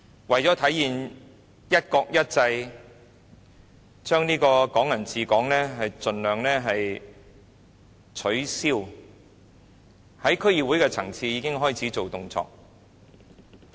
為了體現"一國一制"，盡量取消"港人治港"，在區議會的層次已經開始有動作。